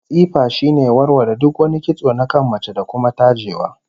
Tsifa shine warware duk wani kitso na kan mace, da kuma tajewa